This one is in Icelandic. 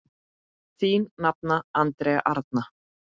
Þín nafna, Andrea Arna.